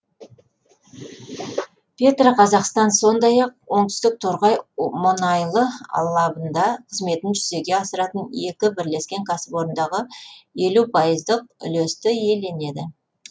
петроқазақстан сондай ақ оңтүстік торғай мұнайлы алабында қызметін жүзеге асыратын екі бірлескен кәсіпорындағы елу пайыздық үлесті иеленеді